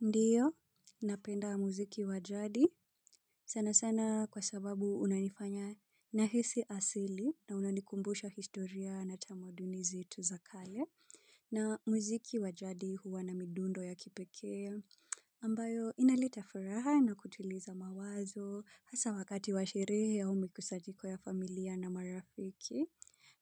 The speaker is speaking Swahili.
Ndiyo, napenda muziki wa jadi sana sana kwa sababu unanifanya nahisi asili na unanikumbusha historia na tamaduni zetu za kale. Na muziki wajadi huwa na midundo ya kipekee ambayo inaleta furaha na kutuliza mawazo hasa wakati wa sherehe au mikusanyiko ya familia na marafiki.